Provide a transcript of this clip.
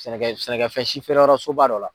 Sɛnɛkɛ sɛnɛkɛfɛn si fɛɛrɛ yɔrɔ soba dɔ la.